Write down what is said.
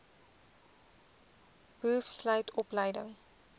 boov sluit opleiding